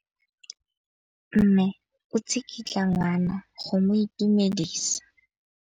Mme o tsikitla ngwana go mo itumedisa.